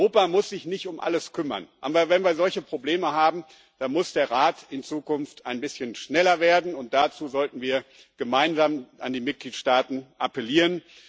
Europa muss sich nicht um alles kümmern, aber wenn wir solche Probleme haben, dann muss der Rat in Zukunft ein bisschen schneller werden, und dazu sollten wir gemeinsam an die Mitgliedstaaten appellieren.